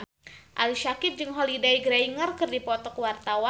Ali Syakieb jeung Holliday Grainger keur dipoto ku wartawan